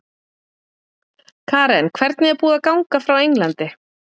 Karen: Hvernig er búið að ganga frá Englandi?